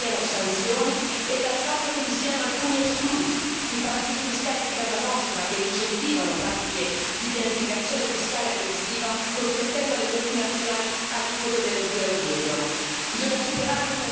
siamo delusi dal fatto che non ci siano sanzioni e dal fatto che vi siano alcuni esclusi i paradisi fiscali di casa nostra, che incentivano pratiche di pianificazione fiscale aggressiva, consentendo alle multinazionali aliquote dello zero virgola